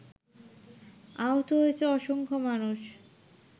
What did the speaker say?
আহত হয়েছে অসংখ্য মানুষ